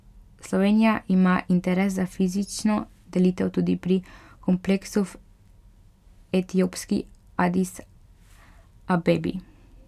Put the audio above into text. Slovenija ima interes za fizično delitev tudi pri kompleksu v etiopski Adis Abebi.